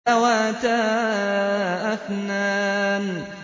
ذَوَاتَا أَفْنَانٍ